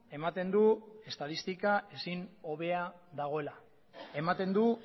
ematen du estatistika ezin hobea dagoela ematen du